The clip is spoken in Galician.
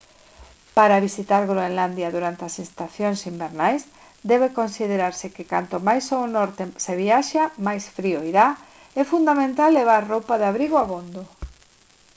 para visitar groenlandia durante as estacións invernais debe considerarse que canto máis ao norte se viaxe máis frío irá é fundamental levar roupa de abrigo abondo